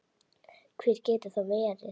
Hver getur það verið?